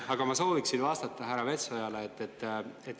Aga ma sooviksin vastata härra Metsojale.